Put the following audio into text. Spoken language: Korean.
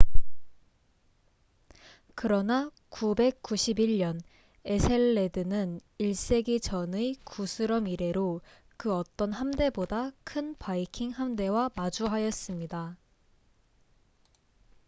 그러나 991년 에셀레드는 1세기 전의 구스럼 이래로 그 어떤 함대보다 큰 바이킹 함대와 마주하였습니다